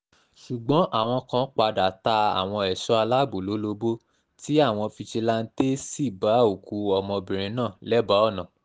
ṣùgbọ́n àwọn kan padà ta àwọn ẹ̀ṣọ́ aláàbọ̀ lólobó tí àwọn fijilanté sì bá òkú ọmọbìnrin náà lẹ́bàá ọ̀nà